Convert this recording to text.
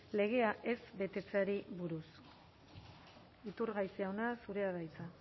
legea ez betetzeari buruz iturgaiz jauna zurea da hitza